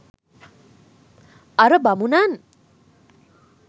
අර බමුණන්